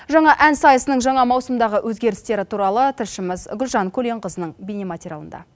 жаңа ән сайысының жаңа маусымдағы өзгерістері туралы тілшіміз гүлжан көленқызының бейнематериалында